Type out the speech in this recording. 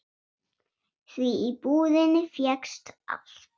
Því í búðinni fékkst allt.